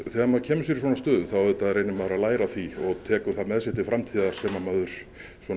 þegar maður kemur sér í svona stöðu þá auðvitað reynir maður að læra af því og tekur það með sér til framtíðar sem maður